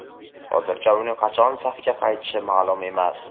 Hozircha uning qachon safga qaytishi ma’lum emas.